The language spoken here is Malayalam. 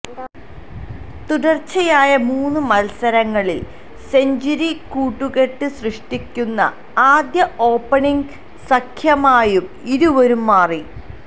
തുടര്ച്ചയായ മൂന്ന് മത്സരങ്ങളില് സെഞ്ചുറി കൂട്ടുകെട്ട് സൃഷ്ടിക്കുന്ന ആദ്യ ഓപ്പണിങ്ങ് സഖ്യമായും ഇരുവരും മാറി